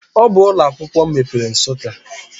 Ọ bụ ụlọ akwụkwọ mepere Nsukka.